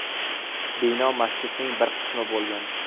Bino masjidning bir qismi bo‘lgan.